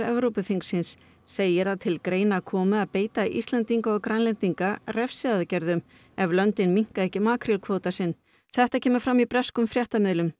Evrópuþingsins segir að til greina komi að beita Íslendinga og Grænlendinga refsiaðgerðum ef löndin minnka ekki makrílkvóta sinn þetta kemur fram í breskum fréttamiðlum